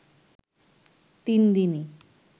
তিন দিনই